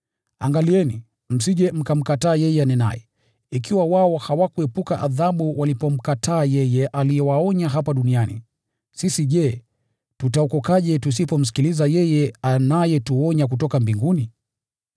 Angalieni, msije mkamkataa yeye anenaye. Ikiwa wao hawakuepuka adhabu walipomkataa yeye aliyewaonya hapa duniani, sisi je, tutaokokaje tusipomsikiliza yeye anayetuonya kutoka mbinguni?